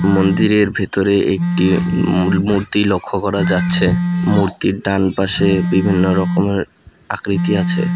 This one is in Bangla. মন্দিরের ভেতরে একটি মূল মূর্তি লক্ষ্য করা যাচ্ছে মূর্তির ডান পাশে বিভিন্ন রকমের আকৃতি আছে।